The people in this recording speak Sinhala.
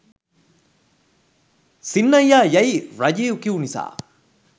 සින්නයියා යැයි රජීව් කිව් නිසා